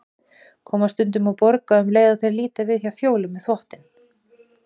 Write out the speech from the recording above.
Koma stundum og borga um leið og þeir líta við hjá Fjólu með þvottinn.